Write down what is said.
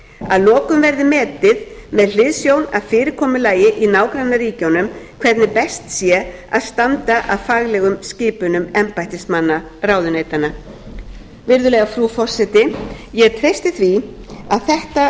að lokum verði metið með hliðsjón af fyrirkomulagi í nágrannaríkjunum hvernig best sé að standa að faglegum skipunum embættismanna ráðuneytanna virðulega frú forseti ég treysti því að þetta